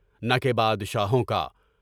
نہ کہ بادشاہوں کا۔